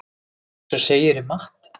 Eins og segir í Matt.